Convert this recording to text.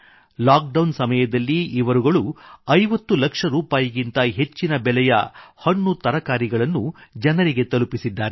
lockdown ಸಮಯದಲ್ಲಿ ಇವರುಗಳು 50 ಲಕ್ಷ ರೂಪಾಯಿಗಿಂತ ಹೆಚ್ಚಿನ ಬೆಲೆಯ ಹಣ್ಣುತರಕಾರಿಗಳನ್ನು ಜನರಿಗೆ ತಲುಪಿಸಿದ್ದಾರೆ